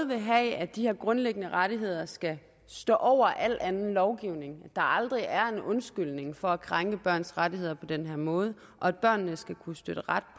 vil have at de her grundlæggende rettigheder skal stå over al anden lovgivning at der aldrig er en undskyldning for at krænke børns rettigheder på den måde og at børnene skal kunne støtte ret